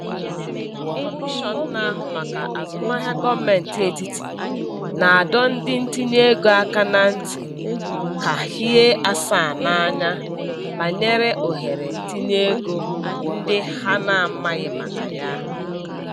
Kọmishọn na-ahụ maka Azụmahịa Gọọmentị Etiti na-adọ ndị ntinyeego aka na ntị ka hie asaa n'anya banyere ohere ntinyeego ndị ha na-amaghị maka ya.